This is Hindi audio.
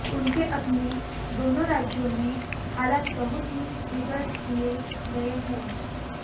उनके अपने दोनों राज्यों में हालात बहुत ही बिगाड़ दिए गए हैं